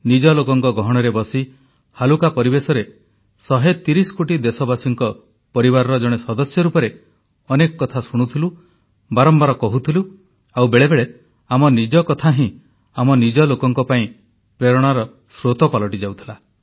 ନିଜ ଲୋକଙ୍କ ଗହଣରେ ବସି ହାଲୁକା ପରିବେଶରେ 130 କୋଟି ଦେଶବାସୀଙ୍କ ପରିବାରର ଜଣେ ସଦସ୍ୟ ରୂପରେ ଅନେକ କଥା ଶୁଣୁଥିଲୁ ବାରମ୍ବାର କହୁଥିଲୁ ଆଉ ବେଳେବେଳେ ଆମ ନିଜ କଥା ହିଁ ଆମ ନିଜ ଲୋକଙ୍କ ପାଇଁ ପ୍ରେରଣାର ସ୍ରୋତ ପାଲଟି ଯାଉଥିଲା